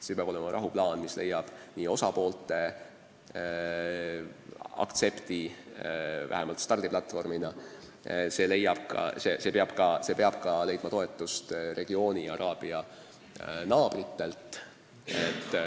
Siin peab olema rahuplaan, mis leiab osapoolte aktsepti vähemalt stardiplatvormina, ja see peab ka leidma toetust regioonina araabia naabritelt.